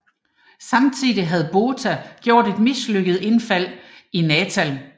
Samtidig havde Botha gjort et mislykket indfald i Natal